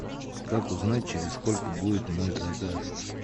как узнать через сколько будет мой заказ